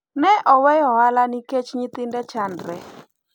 ne oweyo ohala nikec nyithinde chandre